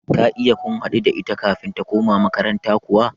Ka iya kun haɗu da ita kafin ta koma makaranta kuwa?